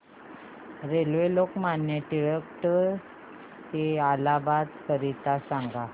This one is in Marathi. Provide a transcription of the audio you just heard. रेल्वे लोकमान्य टिळक ट ते इलाहाबाद करीता सांगा